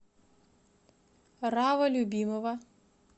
рава любимова